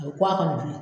A bɛ kɔ a ka bilen